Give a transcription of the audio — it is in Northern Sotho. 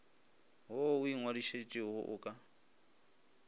wo o ingwadišitšego o ka